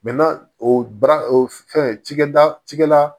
o baara o fɛn cikɛda cikɛda